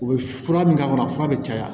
U bɛ fura min k'a kɔnɔ fura bɛ caya